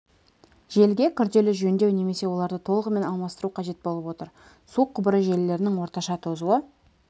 желіге күрделі жөндеу немесе оларды толығымен алмастыру қажет болып отыр су құбыры желілерінің орташа тозуы